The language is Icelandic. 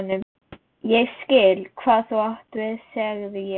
Ég skil, hvað þú átt við sagði ég.